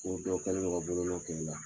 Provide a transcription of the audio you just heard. Ko dɔ kɛlen do ka bolo nɔn kɛ i la.